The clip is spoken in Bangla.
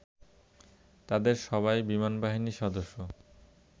তাদের সবাই বিমানবাহিনীর সদস্য